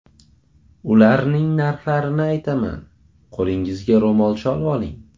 Ularning narxlarini aytaman, qo‘lingizga ro‘molcha olvoling.